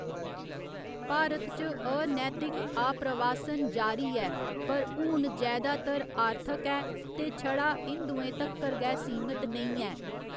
भारत च अनैतिक आप्रवासन जारी ऐ पर हून जैदातर आर्थक ऐ ते छड़ा हिंदुएं तक्कर गै सीमत नेईं ऐ।